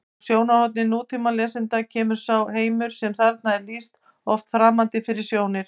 Frá sjónarhorni nútímalesanda kemur sá heimur sem þarna er lýst oft framandi fyrir sjónir: